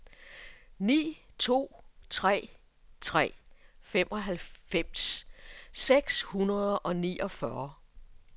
ni to tre tre femoghalvfems seks hundrede og niogfyrre